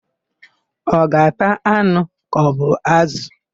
Ọ ga-ata anụ kaọbụ ázụ̀?